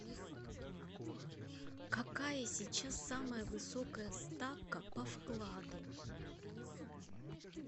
какая сейчас самая высокая ставка по вкладу